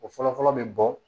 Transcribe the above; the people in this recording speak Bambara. O fɔlɔ-fɔlɔ bɛ bɔ